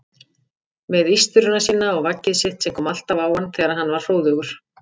Með ístruna sína og vaggið sitt sem kom alltaf á hann þegar hann var hróðugur.